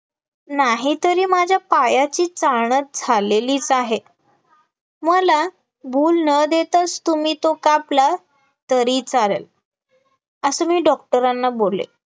नाहीतरी माझ्या पायाची चाळणा झालेलीच आहे मला भूल न देताच तुम्ही तो कापला तरी चालेल, असं मी doctor ना बोलले